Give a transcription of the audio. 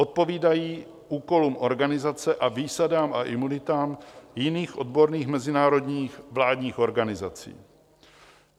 Odpovídají úkolům organizace a výsadám a imunitám jiných odborných mezinárodních vládních organizací.